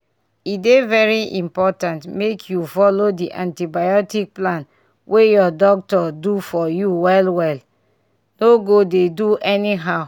e dey very important make you follow the antibiotic plan wey your doctor do for you well well no go dey do anyhow